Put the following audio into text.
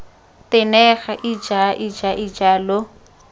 tenega ija ija ija lo